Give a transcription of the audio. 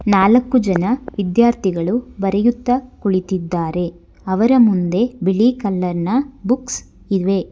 ನಾಲ್ಕು ಜನ ವಿದ್ಯಾರ್ಥಿಗಳು ಬರೆಯುತ್ತಾ ಕುಳಿತಿದ್ದಾರೆ ಅವರ ಮುಂದೆ ಬಿಳಿ ಕಲರ್ ನ ಬುಕ್ಸ್ ಇವೆ.